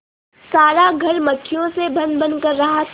सारा घर मक्खियों से भनभन कर रहा था